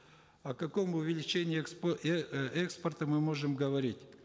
о каком увеличении экспорта мы можем говорить